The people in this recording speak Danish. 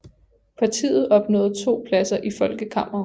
Partiet opnåede to pladser i Folkekammeret